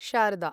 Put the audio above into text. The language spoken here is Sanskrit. शारदा